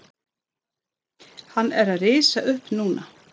Hann er að rísa upp núna.